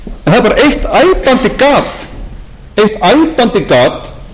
forsætisráðherra að þar er eiginlega ekkert um efnahagsmál